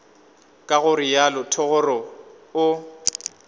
ka go realo thogorogo o